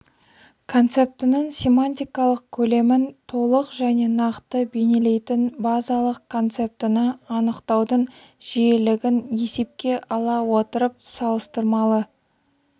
концептінің семантикалық көлемін толық және нақты бейнелейтін базалық концептіні анықтаудың жиілігін есепке ала отырып салыстырмалы